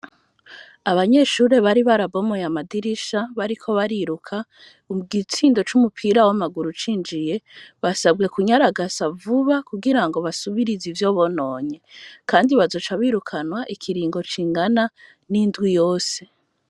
Abanyeshure bari barabomoye amadirisha bariko bariruka, igitsindo c'umupira w'amaguru cinjiye, basabwe kunyaragasa vuba kugira ngo basubirize ivyo bononye. Kandi bazoca birukanwa ikiringo kingana n'indwi yose.